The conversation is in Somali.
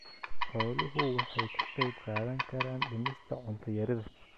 Xooluhu waxay ka qayb qaadan karaan dhimista cunto yarida.